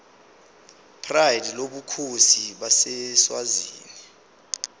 pride lobukhosi baseswazini